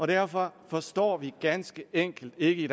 derfor forstår vi ganske enkelt ikke